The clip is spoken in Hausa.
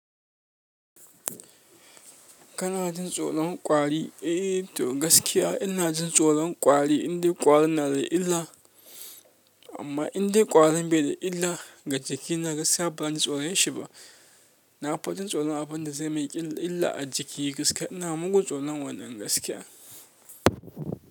Kana jin tsoron ƙwari? Eh to gaskiya ina jin tsoron ƙwari indai ƙwarin na da illa, amma indai ƙwarin bai da illa ga jiki na gaskiya baran ji tsoron shi ba. Nafi jin tsoron abunda zai min illah a jiki gaskiya ina mugun tsoron wannan.